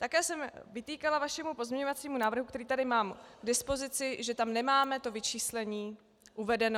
Také jsem vytýkala vašemu pozměňovacímu návrhu, který tady mám k dispozici, že tam nemáme to vyčíslení uvedeno.